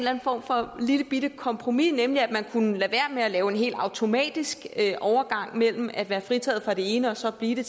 anden form for lillebitte kompromis nemlig at man kunne lade være med at lave en helt automatisk overgang mellem at være fritaget for det ene og så blive det